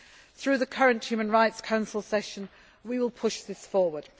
in Syria. Through the current human rights council session we will push this